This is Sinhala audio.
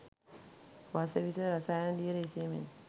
වස විස රසායන දියර ඉසීමෙන්